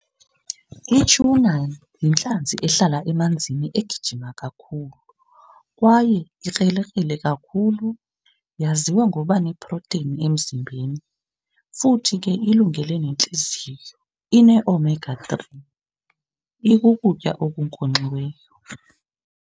Ityhuna yintlanzi ehlala emanzini egijima kakhulu kwaye ikrelekrele kakhulu. Yaziwa ngoba neproteyini emzimbeni, futhi ke ilungele nentliziyo. Ineomega three ikukutya okunkonkxiweyo.